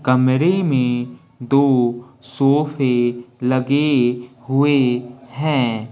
कमरे में दो सोफे लगे हुए है।